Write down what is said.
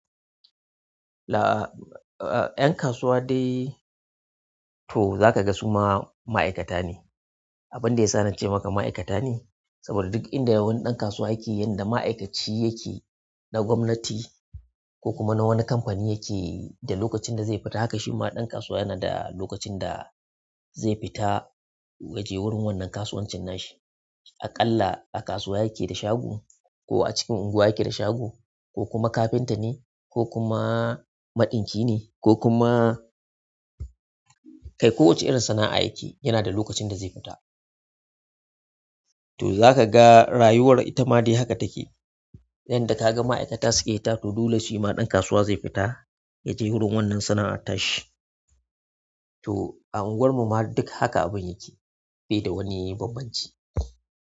La, a'a ƴan kasuwa dai to zaka ga suma ma'aikata ne. Abun da ya sa na ce maka ma'aikata ne, saboda duk inda wani ɗan kasuwa yake yanda ma'aikaci yake na gwamnati ko kuma na wani kamfani yake da lokacin da zai fita haka shi ma ɗan kasuwa yana da lokacin da zai fita ya je wurin wannan kasuwancin nashi. Aƙalla a kasuwa yake da shago ko a cikin unguwa yake da shago ko kuma kafinta ne ko kuma maɗinki ne ko kuma kai ko wacce irin sana'a yake yi yana da lokacin da zai fita. To za ka ga rayuwar ita ma dai haka take. Yanda ka ga ma'aikata suke fita to dole shi ma ɗan kasuwa zai fita ya je wurin wannan sana'a ta shi. To a anguwarmu ma duk haka abin yake bai da wani bambanci.